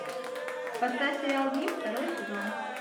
поставь сериал гримм второй сезон